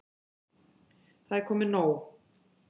Það er komið nóg.